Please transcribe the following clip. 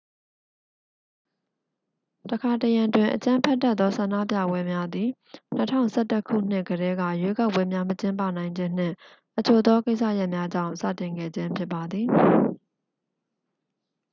တစ်ခါတစ်ရံတွင် အကြမ်းဖက်တတ်သောဆန္ဒပြပွဲများသည် 2011ခုနှစ်ကတည်းက ရွေးကောက်ပွဲများမကျင်းပနိုင်ခြင်းနှင့် အချို့သောကိစ္စရပ်များကြောင့် စတင်ခဲ့ခြင်းဖြစ်ပါသည်